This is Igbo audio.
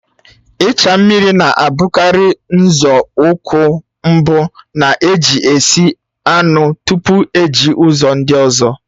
Ịcha mmiri na-abụkarị nzọụkwụ mbụ na-eji esi anụ tupu eji ụzọ ndị ọzọ